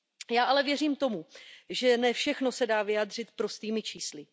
Já ale věřím tomu, že ne všechno se dá vyjádřit prostými čísly.